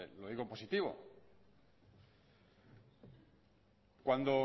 lo digo en positivo cuando